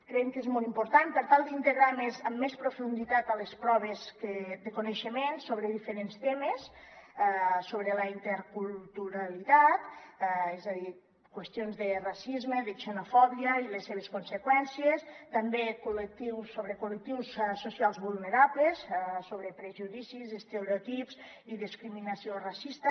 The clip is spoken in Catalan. creiem que és molt important per tal d’integrar amb més profunditat a les proves coneixements sobre diferents temes sobre la interculturalitat és a dir qüestions de racisme de xenofòbia i les seves conseqüències també sobre col·lectius socials vulnerables sobre prejudicis estereotips i discriminació racista